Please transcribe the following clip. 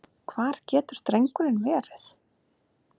Hvar getur drengurinn verið?